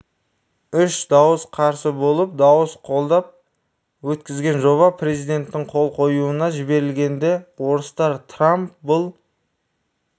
үш дауыс қарсы болып дауыс қолдап өткізген жоба президенттің қол қоюына жіберілгенде орыстар трамп бұл